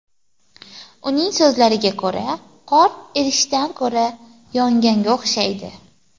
Uning so‘zlariga ko‘ra, qor erishdan ko‘ra, yonganga o‘xshaydi.